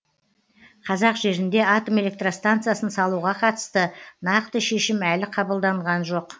қазақ жерінде атом электр станциясын салуға қатысты нақты шешім әлі қабылданған жоқ